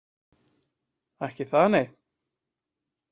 Ekki það nei